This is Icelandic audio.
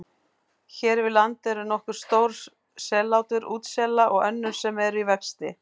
Hér við land eru nokkur stór sellátur útsela og önnur sem eru í vexti.